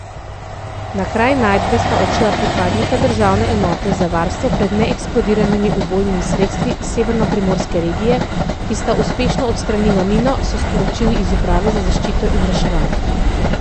Na kraj najdbe sta odšla pripadnika državne enote za varstvo pred neeksplodiranimi ubojnimi sredstvi Severnoprimorske regije, ki sta uspešno odstranila mino, so sporočili iz uprave za zaščito in reševanje.